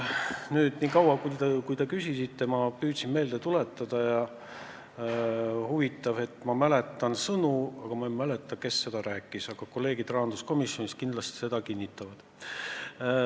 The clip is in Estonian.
Sel ajal, kui te küsisite, ma püüdsin komisjonis toimunut meelde tuletada ja huvitav, et ma mäletan sõnu, aga ei mäleta, kes need ütles, aga kolleegid rahanduskomisjonist kindlasti seda kinnitavad.